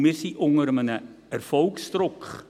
Und wir sind unter Erfolgsdruck.